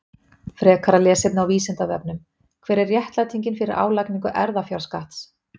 Frekara lesefni á Vísindavefnum: Hver er réttlætingin fyrir álagningu erfðafjárskatts?